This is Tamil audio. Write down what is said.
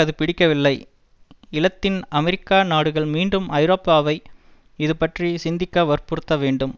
அது பிடிக்கவில்லை இலத்தின் அமெரிக்கா நாடுகள் மீண்டும் ஐரோப்பாவை இதுபற்றிச் சிந்திக்க வற்புறுத்தவேண்டும்